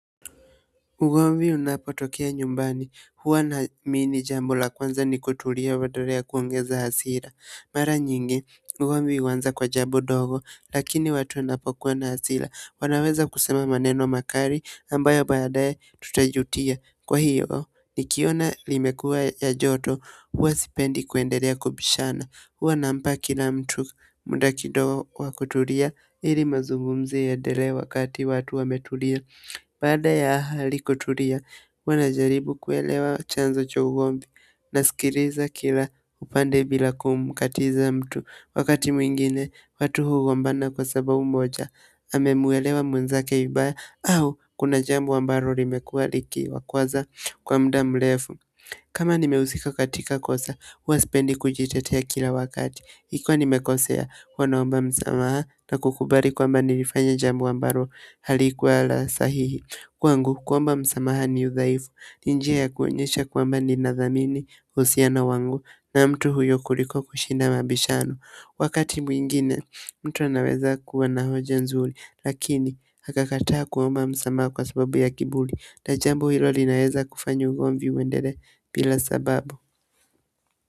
Ugomvi unapotokea nyumbani, mimi jambo la kwanza ni kutulia badala ya kuongeza hasira mara nyingi, ugomvi huanza kwa jambo ndogo, lakini watu wanapokuwa na hasira wanaweza kusema maneno makali, ambayo baadaye tutajutia kwa hiyo, nikiona limekuwa ya joto, huwa sipendi kuendelea kubishana huwa nampa kila mtu muda kidogo wa kutulia ili mazungumzo yaendelee wakati watu wametulia baada ya hali kutulia, huwa najaribu kuelewa chanzo cha ugomvi nasikiliza kila upande bila kumkatiza mtu. Wakati mwingine, watu hugombana kwa sababu moja, amemuelewa mwenzake vibaya au kuna jambo ambalo limekuwa likiwakwaza kwa muda mrefu. Kama nimehusika katika kosa, huwa sipendi kujitetea kila wakati. Ikiwa nimekosea huwa naomba msamaha na kukubali kwamba nilifanya jambo ambalo halikuwa la sahihi. Kwangu, kuomba msamaha ni udhaifu. Ni njia ya kuonyesha kwamba ninadhamini uhusiano wangu na mtu huyo kuliko kushina mabishano. Wakati mwingine, mtu anaweza kuwa na hoja nzuri lakini, akakataa kuomba msamaha kwa sababu ya kiburi na jambo hilo linaweza kufanya ugomvi uendelee bila sababu.